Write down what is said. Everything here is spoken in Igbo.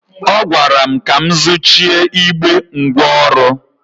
Ọ gwara m ka m zụchie igbe ngwa ọrụ.